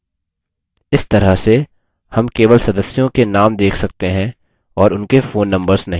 इस तरह से names केवल सदस्यों के names देख सकते हैं और उनके phone numbers नहीं